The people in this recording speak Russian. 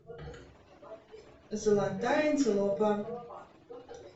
золотая антилопа